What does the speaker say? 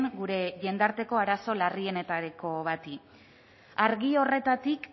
gure jendarteko arazo larrienetako bati argi horretatik